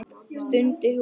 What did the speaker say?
stundi hún.